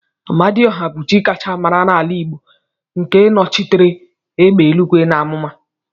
Amadiọha bụ chi akacha mara n'ala Igbo nke nochitere egbe eluigwe na amụma.